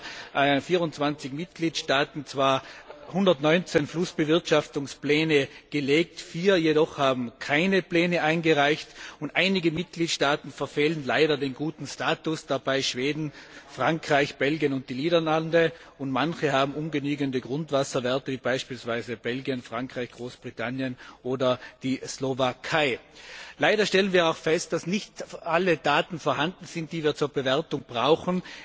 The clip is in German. Es haben zwar 24 Mitgliedstaaten 119 Flussbewirtschaftungspläne vorgelegt, vier jedoch haben keine Pläne eingereicht einige Mitgliedstaaten verfehlen leider den guten Status, darunter Schweden, Frankreich, Belgien und die Niederlande, und manche haben ungenügende Grundwasserwerte, wie beispielsweise Belgien, Frankreich, Großbritannien oder die Slowakei. Leider stellen wir auch fest, dass nicht alle Daten vorhanden sind, die wir zur Bewertung brauchen.